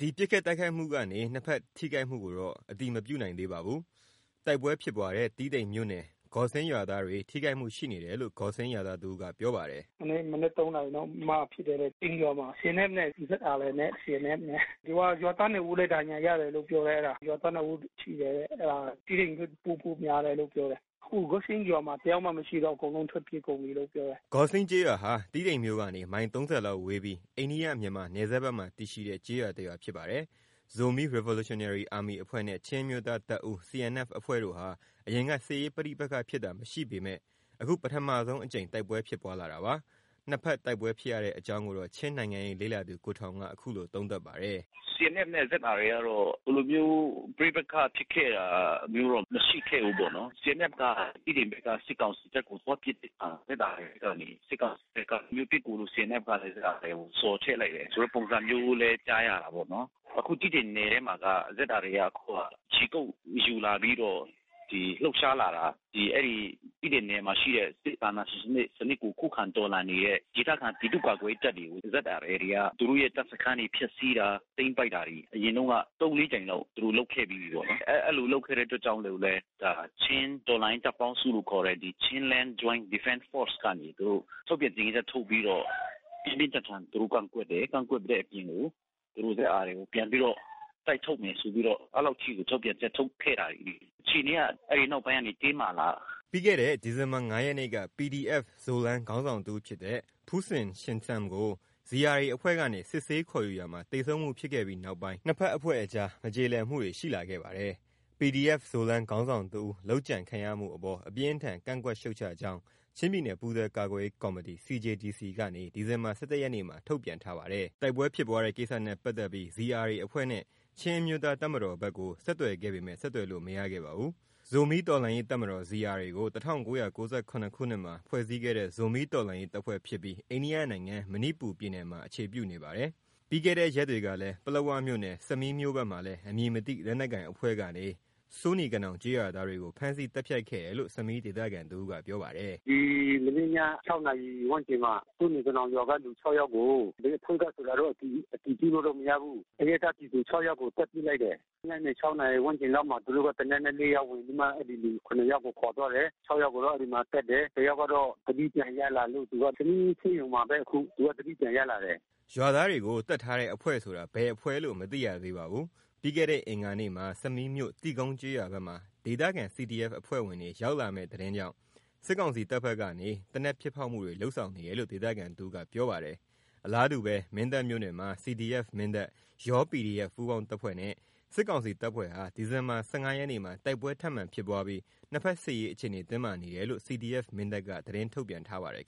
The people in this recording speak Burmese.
ဒီပစ်ခတ်တိုက်ခိုက်မှကနေ နှစ်ဖက်ထိခိုက်မှုကိုတော့ အတည်မပြုနိုင်သေးပါဘူး။ တိုက်ပွဲဖြစ်ပွါးတဲ့တီးတိန်မြို့နယ်ဂေါ်စင်း Gawsing ရွာသားတွေ ထိခိုက်မှုရှိနေတယ်လို့ ဂေါ်စင်းးရွာသားတဦးကပြောပါတယ်။ “ ဒီနေ့မနက်(၃)နာရီလောက်မှာဖြစ်တယ်တဲ့။ ဂေါ်စင်းရွာမှာ CNFနဲ့ ZRA။ ရွာသား(၂)ဦးလဲဒဏ်ရာရတယ်လို့ ပြောတယ်။ ရွာသား(၂)ဦးထိတယ်တဲ့။ အဲဒါ တီးတိန်မြို့ပို့မလားလို့ပြောတယ်။ အခုဂေါ်စင်းရွာမှာတယောက်မှမရှိတော့ဘူး။ အကုန်လုံးထွက်ပြေးကုန်ပြီလို့ပြောတယ်။ ’’ Gawsing ကျေးရွာဟာ တီးတိန်မြို့ကနေ မိုင် ၃၀ လောက်ဝေးပြီး အိန္ဒိယ - မြန်မာနယ်စပ်ဘက်မှာတည်ရှိတဲ့ကျေးရွာ ဖြစ်ပါတယ်။ Zomi Revolutionary Army အဖွဲ့နဲ့ ချင်းအမျိုးသားတပ်ဦးCNFအဖွဲ့ဟာ အရင်ကစစ်ရေးပဋိပက္ခဖြစ်တာမရှိပေမဲ့ အခုပထမဆုံးအကြိမ်တိုက်ပွဲဖြစ်ပွါးလာတာပါ။ နှစ်ဖက်တိုက်ပွဲဖြစ်ရတဲ့အကြောင်းကိုတော့ ချင်းနိုင်ငံရေးလေ့လာသူ ကိုထောင်က အခုလိုသုံးသပ်ပါတယ်။ “CNFနဲ့ZRAကတော့ ဒီလိုမျိုးပဋိပက္ခဖြစ်ခဲ့တာမရှိခဲ့ဘူးပေါ့နော်။ CNFက တီးတိန်ဘက်က စစ်ကောင်စီတပ်ကိုသွားပစ်တဲ့အခါ ZRAကနေ စစ်ကောင်စီဘက်က ဒီလိုမျိုးပစ်ကူ CNFလာတဲ့ ဘက်ကိုဆော်ထဲ့လိုက်တာ ဆိုတဲ့ပုံစံမျိုးလဲကြားရတာပေါ့နော်။ အခု တီးတိန် နယ်ထဲမှာက ZRAက အခုက ခြေကုတ်ယူလာပြီးတော့ လှုပ်ရှားလာတာ အဲဒီ တီးတိန်နယ်မှာရှိတဲ့ စစ်အာဏာရှင်စံနစ်ကို ခုခံတော်လှန်နေတဲ့ ဒေသခံပြည်သူ့ကာကွယ်ရေးတပ်တွေကို ZRAတွေက သူတို့တပ်စခန်းတွေကိုဖျက်စီးတာ သိမ်းပိုက်တာတွေ အရင်တုန်းက(၃)(၄)ကြိမ်လောက် သူတို့လုပ်ပြီးပြီပေါ့နော်။ အဲဒီလိုလုပ်ခဲ့တဲ့အတွက်ကြောင့်မို့လို့ဘဲ ချင်းတော်လှန်ရေးတပ်ပေါင်းစုလို့ခေါ်တဲ့ Chinland Joint Defense ကနေ ထုတ်ပြန် ကြေညာချက်ထုတ်ပြီးတော့ ပြင်းပြင်းထန်ထန်သူတို့ကန့်ကွက်တယ်။ သူတို့ZRAကိုပြန်ပြီးတော့ တိုက်ထုတ်မယ်ဆိုပြီးတော့ အဲဒီလောက်အထိ ထုတ်ပြန်ချက်တွေထုတ်ခဲ့တာတွေရှိတာပေါ့ နော်။ အခြေအနေတွေကအဲဒီနောက်ပိုင်းမှာတင်းမာလာတာ။’ ပြီးခဲ့တဲ့ဒီဇင်ဘာ(၅)ရက်နေ့က PDF-Zoland ခေါင်းဆောင်တစ်ဦးဖြစ်တဲ့ Pu Cin Sian Sum ကို ZRAအဖွဲ့ကနေ စစ်ဆေး ခေါ်ယူရာမှာ သေဆုံးမှုဖြစ်ခဲ့ပြီးနောက်ပိုင်း နှစ်ဖက်အဖွဲ့အကြားမကြေလည်မှုတွေရှိလာခဲ့ပါတယ်။ PDF-Zoland ခေါင်းဆောင်တစ်ဦး လုပ်ကြံခံရမှုအပေါ် အပြင်းအထန် ကန့်ကွက်ရှုတ်ချကြောင်း ချင်းပြည်နယ်ပူးတွဲ ကာကွယ်ရေး ကော်မီတီ CJDC ကနေ ဒီဇင်ဘာ(၁၁)ရက်နေ့မှာထုတ်ပြန်ထားပါတယ်။ တိုက်ပွဲဖြစ်ပွါးတဲ့ကိစ္စနဲ့ပတ်သက်ပြီး ZRA အဖွဲ့နဲ့ ချင်းအမျိုးသားတပ်မတော် CNF ဘက်ကို ဆက်သွယ်ခဲ့ပေမဲ့ဆက်သွယ်လို့ မရခဲ့ပါဘူး။ ဇိုမီးတော်လှန်ရေးတပ်မတော် ZRAကို (၁၉၉၇) ခုနှစ်မှာ ဖွဲ့စည်းခဲ့တဲ့ ဇိုမီးတော်လှန်ရေးတပ်ဖွဲ့ဖြစ်ပြီး အိန္ဒိယနိုင်ငံ၊ မဏိပူရ ပြည်နယ်မှာအခြေပြုနေပါတယ်။ အရင် တရက်ကလည်း ပလက်ဝမြို့နယ် ဆမီးမြို့ဘက်မှာလည်း အမည်မသိလက်နက်ကိုင်အဖွဲ့ကနေ စိုးနီကနောင်ကျေးရွာသားတွေကို ဖမ်းဆီးပြီးသတ်ဖြတ်ခဲ့တယ်လို့ ဆမီးဒေသခံတဦးကပြောပါတယ်။ “ မနေ့ည(၆)နာရီဝန်းကျင်မှာ စိုးနီကနောင်ကလူ(၆)ယောက်ကို ဘယ်အဖွဲ့ကဆိုတောတော့အတည်ပြုလို့မရဘူး။ အရပ်သား ပြည်သူ(၆)ယောက်ကိုသတ်ပစ်ခဲ့တယ်။ ညနေ(၆)နာရီဝန်းကျင်လောက်မှာ သူတို့က သေနတ်နဲ့ဝင်ပြီးမှ အဲဒီလူ(၇)ယောက်ကို ခေါ်သွားတယ်။ (၆)ယောက်ကိုတော့အဲဒီမှာသတ်တယ်။ တယောက်ကတော့သတိပြန်ရလာလို့ သူကဆမီးဆေးရုံမှာဘဲ အခု သူကသတိပြန်ရလာတယ်။ ’’ ရွာသားတွေကိုသတ်ထားတဲ့အဖွဲ့ဆိုတာ ဘယ်အဖွဲ့လို့မသိရသေးပါဘူး။ ပြီးခဲ့တဲ့အင်္ဂါနေ့မှာ ဆမီးမြို့ တိကုန်းကျေးရွာ ဘက်မှာ ဒေသခံCDFအဖွဲ့ဝင်တွေ ရောက်လာမဲ့သတင်းကြောင့်စစ်ကောင်စီတပ်ဘက်ကနေ သေနတ်ပစ်ဖောက်မှု တွေ လုပ်ဆောင်နေတယ်လို့ ဒေသခံတဦးကပြောပါတယ်။ အလားတူ မင်းတပ်မြို့နယ်မှာ CDF-Mindat ၊ ယော PDF ပူးပေါင်းတပ်ဖွဲ့နဲ့ စစ်ကောင်စီတပ်ဖွဲ့ဟာ ဒီဇင်ဘာလ ၁၅ ရက်နေ့မှာ တိုက်ပွဲထပ်မံဖြစ်ပွားပြီး နှစ်ဖက်စစ်ရေးအခြေအနေတင်းမာနေတယ်လို့ CDF-Mindat က သတင်းထုတ်ပြန်ပါတယ်